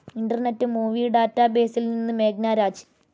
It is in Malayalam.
ഇന്റർനെറ്റ്‌ മൂവി ഡാറ്റാബേസിൽ നിന്ന് മേഘ്‌ന രാജ്